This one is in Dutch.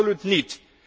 Absoluut niet!